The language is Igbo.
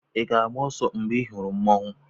ị ga-agba ọsọ mgbe ị hụrụ Mmanwu?